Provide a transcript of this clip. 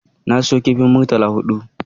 Na siyo kifin murtala huɗu